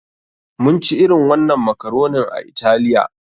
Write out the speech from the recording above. Mun ci irin wannan makaronin a Italiya.